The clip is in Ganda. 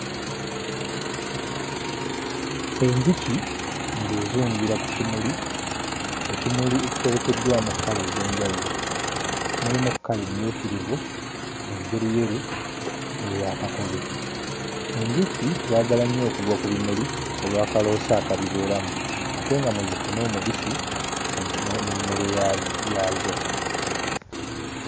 Enjuki ng'ezungira ku kimuli, ekimuli ekitobekeddwamu kkala ez'enjawulo, mulimu kkala emmyukirivu, enjeruyeru n'eya kakobe. Enjuki zaagala nnyo okugwa ku bimuli olw'akaloosa akabibeeramu ate nga mwe zifuna omubisi ogu oh n'emmere ya yaazo.